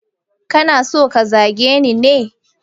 Kana so ka zage ni ne?